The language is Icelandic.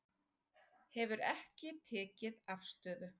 Hefur ekki tekið afstöðu